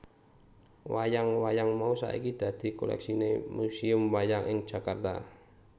Wayang wayang mau saiki dadi koleksine Museum Wayang ing Jakarta